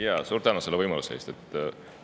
Jaa, suur tänu selle võimaluse eest!